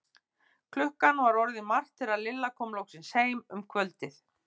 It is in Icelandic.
Klukkan var orðin margt þegar Lilla kom loksins heim um kvöldið.